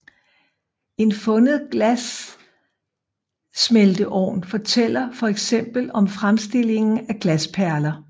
En fundet glassmelteovn fortæller for eksempel om fremstillingen af glasperler